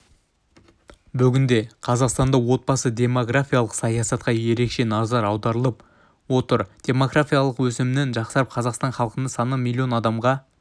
бүгінде қазақстанда отбасы-демографиялық саясатқа ерекше назар аударылып отыр демографиялық өсімнің жақсарып қазақстан халқының саны миллион адамға